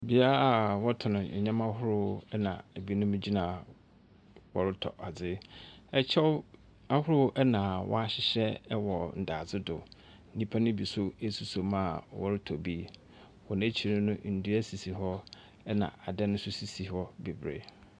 Bea a ɔtɔn neɛma ahorow ɛna ɛbinom gyina ha ɔretɔ ade. Ɛkyɛw ahorow ɛna wahyehyɛ ɛwɔ dade do, nnipa bi nso ɛsosɔ mu a ɔretɔ bi. Wɔn akyiri no ndua sisi hɔ ɛna adan nso sisi hɔ bebree.